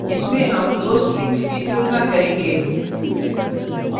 इसमें हम दो strings की तुलना करेंगे